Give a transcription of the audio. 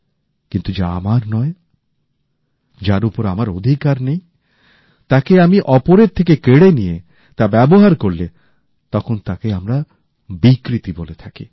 কিন্তুযা আমার নয় যার উপর আমার অধিকার নেই তাকে আমি অপরের থেকে কেড়ে নিয়ে তা ব্যবহার করলে তখন তাকে আমরা বিকৃতি বলে থাকি